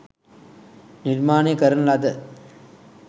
නිර්මාණය කරන ලද